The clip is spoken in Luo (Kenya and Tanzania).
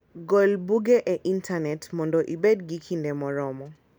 Gol buge e intanet mondo ibed gi kinde moromo.